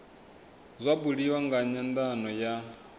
zwa buliwa nga nyandano ya